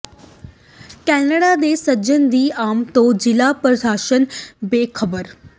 Canada ਦੇ ਸੱਜਣ ਦੀ ਆਮਦ ਤੋਂ ਜ਼ਿਲ੍ਹਾ ਪ੍ਰਸ਼ਾਸਨ ਬੇਖ਼ਬਰ